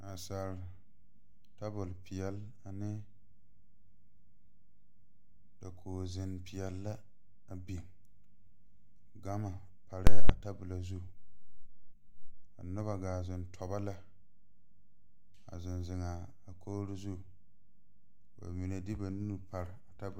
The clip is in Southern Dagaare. Naasaal tabol peɛle ane dakoge zeŋ peɛle la a biŋ gama parɛɛ a tabolɔ zu ka nobɔ gaa zeŋ tɔbɔ lɛ a zeŋ zeŋaa a kogre zu ka ba mine de ba nu pare a tabole .